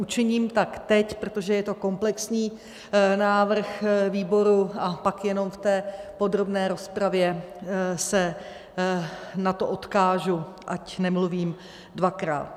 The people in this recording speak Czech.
Učiním tak teď, protože je to komplexní návrh výboru, a pak jenom v té podrobné rozpravě se na to odkážu, ať nemluvím dvakrát.